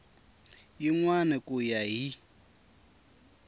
yin wana ku ya hi